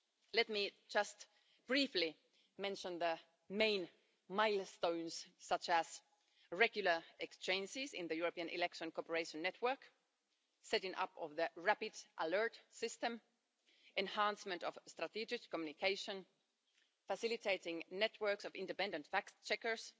Let me just briefly mention the main milestones, such as regular exchanges in the European election cooperation network, setting up the Rapid Alert System, enhancement of strategic communication, facilitating networks of independent fact checkers,